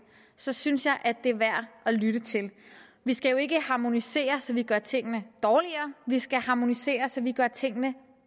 så synes jeg det er værd at lytte til vi skal jo ikke harmonisere så vi gør tingene dårligere vi skal harmonisere så vi gør tingene